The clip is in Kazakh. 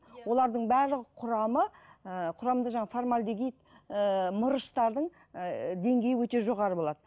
олардың барлығының құрамы ыыы құрамында жаңағы формальдегид ііі мырыштардың ііі деңгейі өте жоғары болады